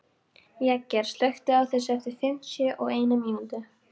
Jagger, slökktu á þessu eftir fimmtíu og eina mínútur.